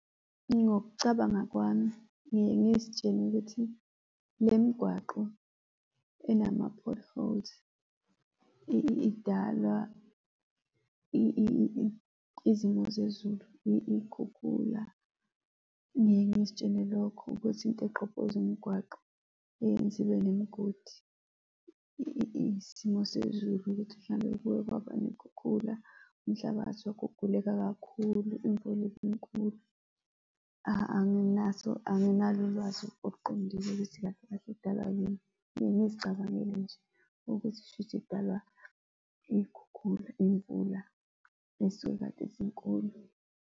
Ngokucabanga kwami, ngiye ngizitshela ukuthi le migwaqo enama-potholes, idalwa izimo zezulu iy'khukhula, ngiye ngizitshele lokho ukuthi into egqobhoza umgwaqo eyenza ibe nemigodi isimo sezulu ukuthi mhlambe kuye kwaba ney'khukhula, umhlabathi waguguleka kakhulu, imvula ibinkulu. Anginaso, anginalo ulwazi oluqondile ukuthi kahle, kahle idalwa yini. Ngiye ngizicabangele nje ukuthi shuthi idalwa iy'khukhula, iy'mvula ey'suke kade zinkulu.